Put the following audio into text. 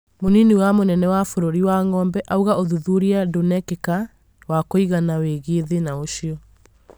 munini wa mũnene wa bũrũri wangombe auga ũthuthuria ndunekĩka wa kũigana wĩgie thĩna ũcio